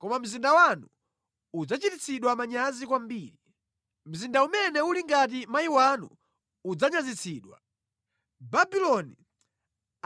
Koma mzinda wanu udzachititsidwa manyazi kwambiri. Mzinda umene uli ngati mayi wanu udzanyazitsidwa. Babuloni